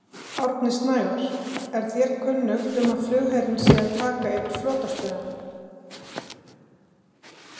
Árni Snævarr: Er þér kunnugt um að flugherinn sé að taka yfir flotastöðina?